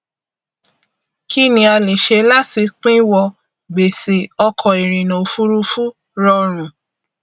kí ni a lè ṣe láti pinwọ gbèṣè ọkọ ìrìnà òfurufú rọrun